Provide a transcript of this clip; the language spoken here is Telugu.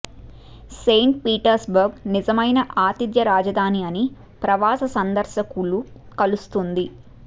సెయింట్ పీటర్స్బర్గ్ నిజమైన ఆతిథ్య రాజధాని అన్ని ప్రవాస సందర్శకులు కలుస్తుంది